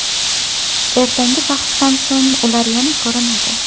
Ertangi bahsdan so‘ng ular yana ko‘rinadi.